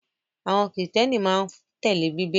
Àwọn Kìrìtẹ́ẹ́nì máa ń tẹ́lẹ̀ Bíbélì.